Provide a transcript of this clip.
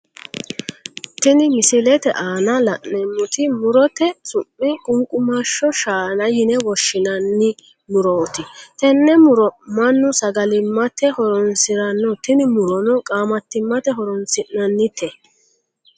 Tini misilete aanna la'neemoti murote su'mi qunqumasho shaana yine woshinnanni murooti tenne muro Manu sagalimate horoonsirano tinni murono qaamatimate horoonsi'nanni the.